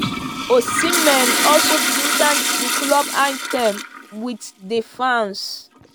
osimehn also begin chant di club anthem wit di fans.